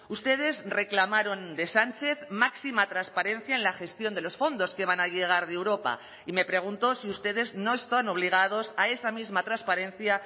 ustedes reclamaron de sánchez máxima transparencia en la gestión de los fondos que van a llegar de europa y me pregunto si ustedes no están obligados a esa misma transparencia